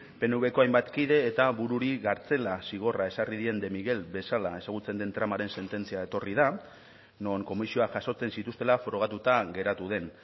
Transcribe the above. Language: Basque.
pnvko hainbat kide eta bururi kartzela zigorra ezarri dien de miguel bezala ezagutzen den tramaren sententzia etorri da non komisioa jasotzen zituztela frogatuta geratu den